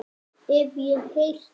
Hef ég heyrt.